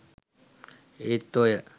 ඒත් ඔය